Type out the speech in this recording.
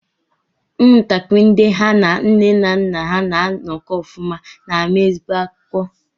Ụmụntakịrị ndị ha na nne na nna ha na-anọkọ ọfụma na-ama ezigbo akwụkwọ.